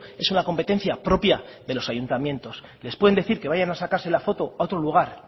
es una competencia propia de los ayuntamientos les pueden decir que vayan a sacarse la foto a otro lugar